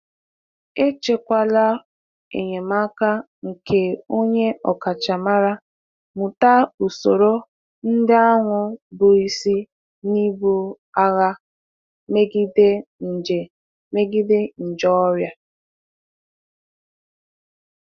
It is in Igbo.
Echekwala enyemaka nke onye ọkachamara, mụta usoro ndị ahụ bụ isi n'ibu agha megide nje megide nje ọrịa.